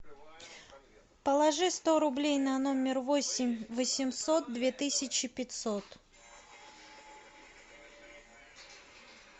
положи сто рублей на номер восемь восемьсот две тысячи пятьсот